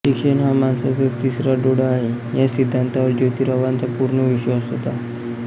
शिक्षण हा माणसाचा तिसरा डोळा आहे या सिद्धांतावर जोतीरावांचा पूर्ण विश्वास होता